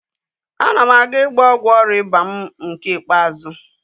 Ana m aga ịgba ọgwụ ọrịa ịba mụ nke ikpeazụ